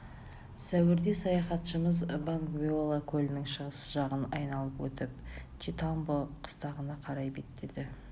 сәуірде саяхатшымыз бангвеола көлінің шығыс жағын айналып өтіп читамбо қыстағына қарай беттеді